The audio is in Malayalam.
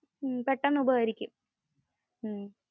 പെട്ടന്ന് ഉപകരിക്കും